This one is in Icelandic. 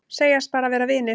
Segjast bara vera vinir